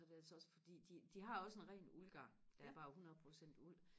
så er det altså også fordi de de har også en ren uldgarn der er bare hundred procent uld